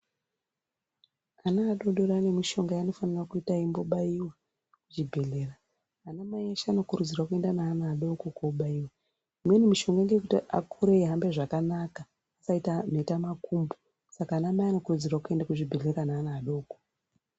Ana adori dori ane mishonga yaanofanira kuita eimbobaiwa kuchibhedhlera. Anamai eshe anokurudzirwa kuenda neana adoko kuchibhedhlera. Imweni mishonga ndeyekuti akure eihambe zvakanaka asaita mhetamakumbo, saka anamai anokurudzirwa kuende kuzvibhedhlera naana adoko.